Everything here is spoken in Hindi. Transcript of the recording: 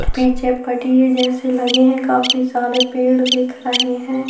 पीछे पटिए जैसे लगे है काफी सारे पेड़ दिख रहे हैं।